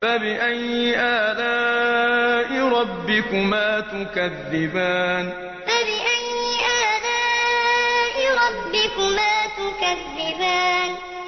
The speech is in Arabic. فَبِأَيِّ آلَاءِ رَبِّكُمَا تُكَذِّبَانِ فَبِأَيِّ آلَاءِ رَبِّكُمَا تُكَذِّبَانِ